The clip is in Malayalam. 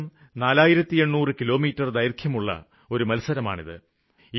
ഏകദേശം 4800 കിലോമീറ്റര് ദൈര്ഘ്യമുള്ള മത്സരമാണിത്